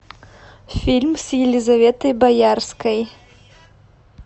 фильм с елизаветой боярской